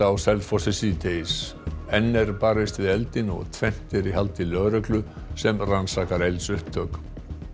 á Selfossi síðdegis enn er barist við eldinn og tvennt er í haldi lögreglu sem rannsakar eldsupptök